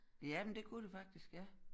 Ja men det kunne det faktisk ja